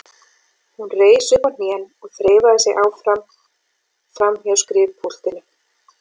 Hún reis upp á hnén og þreifaði sig áfram framhjá skrifpúltinu.